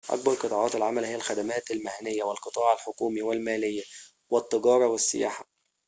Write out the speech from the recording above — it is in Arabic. أكبر قطاعات العمل هي الخدمات المهنيّة والقطاع الحكومي والماليّة والتجارة والسياحة